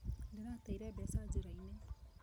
Ndĩrateire mbeca njĩra-inĩ.